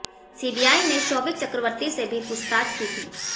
CBI ने शौविक चक्रवर्ती से भी पूछताछ की थी